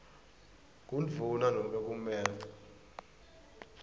kundvuna nobe kumec